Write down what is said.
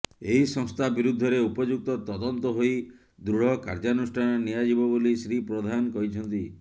ଏହି ସଂସ୍ଥା ବିରୁଦ୍ଧରେ ଉପଯୁକ୍ତ ତଦନ୍ତ ହୋଇ ଦୃଢ କାର୍ଯ୍ୟାନୁଷ୍ଠାନ ନିଆ ଯିବ ବୋଲି ଶ୍ରୀ ପ୍ରଧାନ କହିଛନ୍ତି